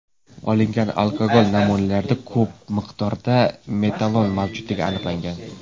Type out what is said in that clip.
Olingan alkogol namunalarida ko‘p miqdorda metanol mavjudligi aniqlangan.